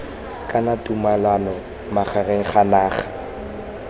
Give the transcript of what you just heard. kana tumalano magareng ga naga